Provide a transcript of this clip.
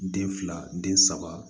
Den fila den saba